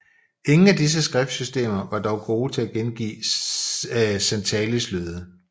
Ingen af disse skriftsystemer var dog gode til at gengive santalis lyde